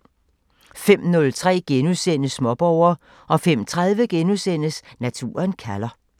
05:03: Småborger * 05:30: Naturen kalder *